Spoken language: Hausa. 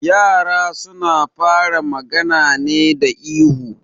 Yara suna fara magana ne da ihu